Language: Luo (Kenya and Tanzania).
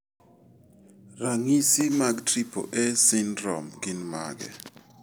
Ranyi mag Triple A syndrome gin mage?